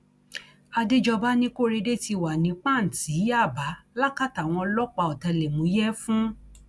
àdéjọba ní korede ti wà ní pàǹtí yaba lákàtà àwọn ọlọpàá ọtẹlẹmúyẹ fún